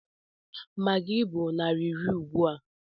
Maggi bụ naira iri ugbua.